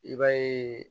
I b'a ye